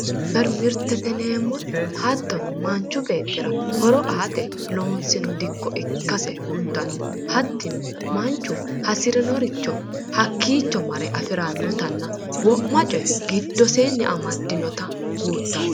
supirimaarkeetete mirte:- supirimaarkeetete yineemmoti hattono manchu beetira horo aate loonsanni diko ikkase kulitano hattino manu hasirinorico hakiicco mare afirannottanna wo'ma coye gidoseenni amadinnotta kulittanno